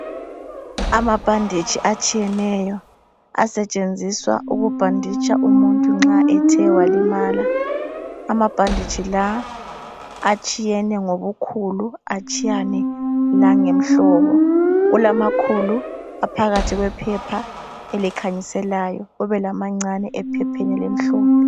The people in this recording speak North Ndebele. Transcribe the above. Amabhanditshi atshiyeneyo asetshenziswa ukubhanditsha umuntu nxa ethe walimala. Amabhanditshi la atshiyene ngobukhulu, atshiyene langemhlobo. Kulamakhulu aphakathi kwephepha elikhanyiselayo. Kube lamancane ephepheni elimhlophe.